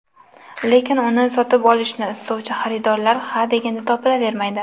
Lekin uni sotib olishni istovchi xaridorlar ha deganda topilavermaydi.